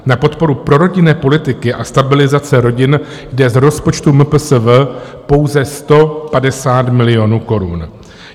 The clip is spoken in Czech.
Na podporu prorodinné politiky a stabilizace rodin jde z rozpočtu MPSV pouze 150 milionů korun.